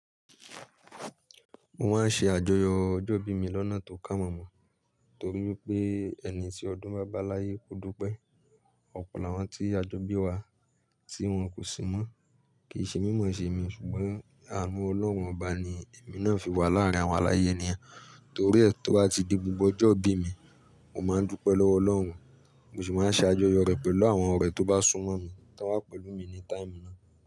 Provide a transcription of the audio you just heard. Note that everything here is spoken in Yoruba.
Mo máa ń ṣe àjọyọ̀ ọjọ́ ìbí mi lọ́nà tó kà mọ́ mọ́, torí pé ẹni tí ọdún bá báláyé ko dùú pẹ́. Ọ̀pọ̀ làwọn tí a jọ bí wa tí wọ́n kò sí mọ́. Kì í ṣe mímọ̀ ṣe mi ṣùgbọ́n ànú olọ́run Ọba ni èmi náà fi wà láàárín àwọn aláyé ènìyàn. Torí ẹ́ tó bá ti di gbogbo ọjọ́ ìbí mi, mo máa ń dúpẹ́ lọ́wọ́ Ọlọ́run, mo sì máa ṣe àjọyọ̀ rẹ̀ pẹ̀lú àwọn ọ̀rẹ́ tó bá súnmọ́ mi ti won wà pẹ̀lú mi ní táìmù náà.